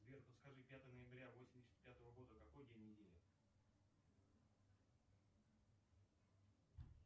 сбер подскажи пятое ноября восемьдесят пятого года какой день недели